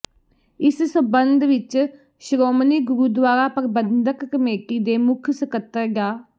ਇਸ ਸਬੰਧ ਵਿਚ ਸ਼੍ਰੋਮਣੀ ਗੁਰਦੁਆਰਾ ਪ੍ਰਬੰਧਕ ਕਮੇਟੀ ਦੇ ਮੁੱਖ ਸਕੱਤਰ ਡਾ